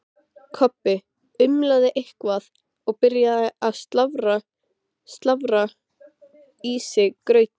Kobbi umlaði eitthvað og byrjaði að slafra í sig grautinn.